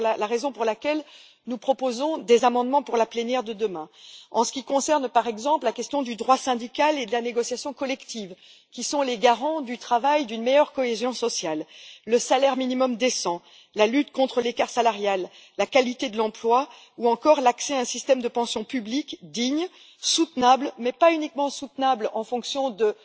C'est la raison pour laquelle nous proposons des amendements pour la plénière de demain, en ce qui concerne, par exemple, la question du droit syndical et de la négociation collective qui sont les garants, en matière de travail, d'une meilleure cohésion sociale le salaire minimum décent, la lutte contre l'écart salarial, la qualité de l'emploi ou encore l'accès à un système de pension publique, digne et soutenable mais pas soutenable uniquement du point de